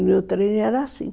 E o trem era assim.